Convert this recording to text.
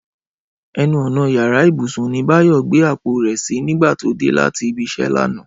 Ẹnu ọ̀nà yàrá ìbùsùn ni Báyọ̀ gbé àpò rẹ̀ sí nígbà tó dé láti ibi iṣẹ́ lánàá